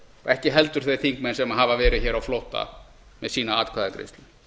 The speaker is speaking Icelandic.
ekki heldur þeir þingmenn sem hafa verið hér á flótta með sína atkvæðagreiðslu